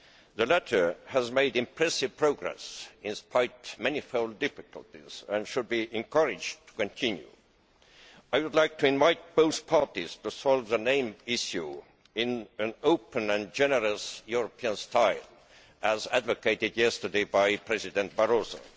The latter has made impressive progress despite manifold difficulties and should be encouraged to continue. I would like to invite both parties to solve the name issue in an open and generous European style, as advocated yesterday by President Barroso.